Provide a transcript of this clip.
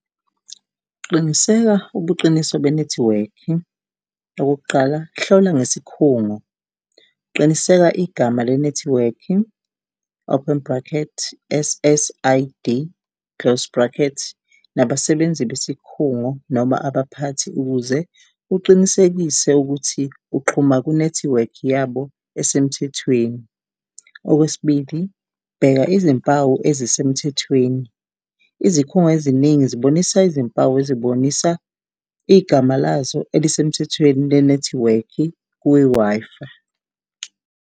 Qiniseka ubuqiniso be nethiwekhi, okokuqala hlola ngesikhungo, qiniseka igama le nethiwekhi. Open bracket S_S_I_D close bracket nabasebenzi besikhungo noma abaphathi ukuze uqinisekise ukuthi uxhuma ku-nethiwekhi yabo esemthethweni. Okwesibili, bheka izimpawu ezisemthethweni izikhungo eziningi zibonisa izimpawu ezobonisa igama lazo elisemthethweni le nethiwekhi kwi-Wi-Fi.